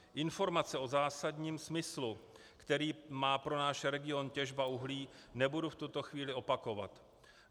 Informace o zásadním smyslu, který má pro náš region těžba uhlí, nebudu v tuto chvíli opakovat.